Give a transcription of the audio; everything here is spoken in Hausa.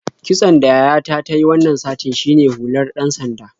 Kitson da yayata ta yi wannan satin shine hular ɗan-sanda.